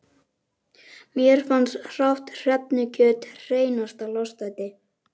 Mér fannst hrátt hrefnukjöt hreinasta lostæti.